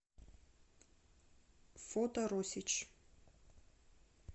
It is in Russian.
фото росич